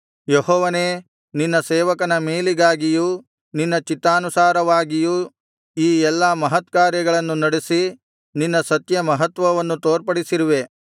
ಯೆಹೋವನೇ ನಿನ್ನ ಸೇವಕನ ಮೇಲಿಗಾಗಿಯೂ ನಿನ್ನ ಚಿತ್ತಾನುಸಾರವಾಗಿಯೂ ಈ ಎಲ್ಲಾ ಮಹತ್ಕಾರ್ಯಗಳನ್ನು ನಡೆಸಿ ನಿನ್ನ ಸತ್ಯ ಮಹತ್ವವನ್ನು ತೋರ್ಪಡಿಸಿರುವೆ